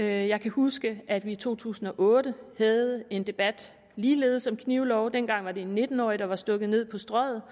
jeg kan huske at vi i to tusind og otte havde en debat ligeledes om knivlove dengang var det en nitten årig der var blevet stukket ned på strøget